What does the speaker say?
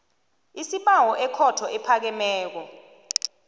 isibawo ekhotho ephakemeko